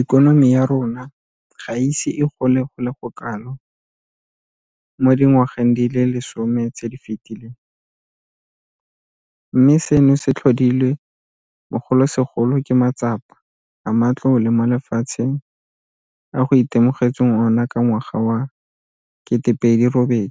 Ikonomi ya rona ga e ise e gole go le kalo mo dingwageng di le lesome tse di fetileng, mme seno se tlhodilwe bogolosegolo ke matsapa a matlole mo lefatsheng a go itemogetsweng ona ka ngwaga wa 2008